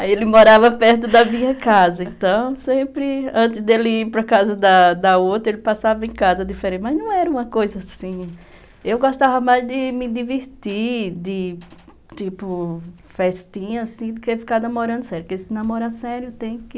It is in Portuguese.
Aí ele morava perto da minha casa, então sempre, antes dele ir para casa da da outra, ele passava em casa diferente, mas não era uma coisa assim, eu gostava mais de me divertir, de, tipo, festinha, assim, do que ficar namorando sério, porque se namorar sério tem que...